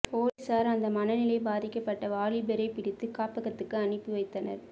போலீசார் அந்த மனநிலை பாதிக்கப்பட்ட வாலிபரை பிடித்து காப்பகத்துக்கு அனுப்பி வைத்தனர்